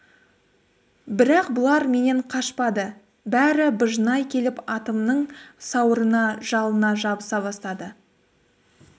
бірақ бұлар менен қашпады бәрі быжнай келіп атымның сауырына жалына жабыса бастады